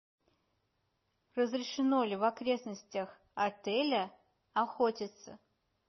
разрешено ли в окрестностях отеля охотиться